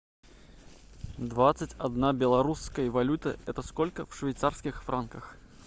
двадцать одна белорусская валюта это сколько в швейцарских франках